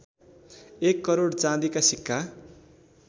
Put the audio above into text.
१ करोड चाँदीका सिक्का